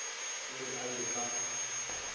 o re a ye ka